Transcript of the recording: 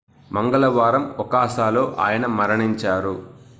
మంగళవారం ఒసాకాలో ఆయన మరణించారు